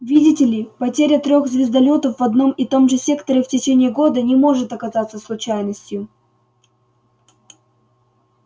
видите ли потеря трёх звездолётов в одном и том же секторе в течение года не может оказаться случайностью